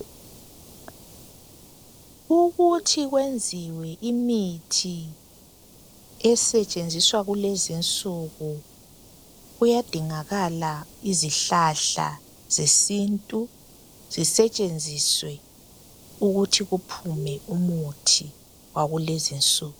Ukuthi kwenziwe imithi esetshenziwa kulezi insuku. Kuyadingakala izihlahla zesintu, Zisetshenziswe, ukuthi kuphume umithi wakulezi nsuku.